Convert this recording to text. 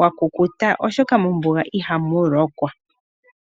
wa kukuta oshoka mombuga ihamu lokwa.